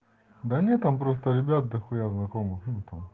да нет он просто ребят дахуя знакомых ну там